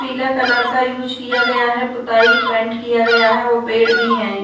पीला कलर का यूज़ किया गया है। पुताई पेंट किया गया है और पेड़ भी हैं।